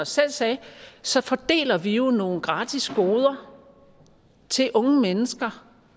selv sagde så fordeler vi jo nogle gratis goder til unge mennesker